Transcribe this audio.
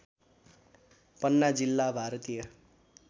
पन्ना जिल्ला भारतीय